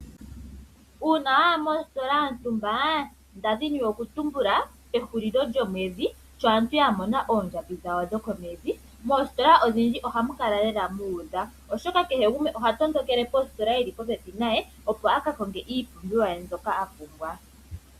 Uuna waya mositola yontumba nda dhini okutumbula pehulilo lyomwedhi sho aantu ya mona oondjambi dhawo dhokomwedhi moositola odhindji ohamu kala lela muudha. Oshoka kehe gumwe oha tondokele positola ndjoka yili popepi naye opo a kakonge iipumbiwa ye mbyoka a pumbwa.